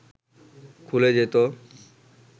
খুলে যেত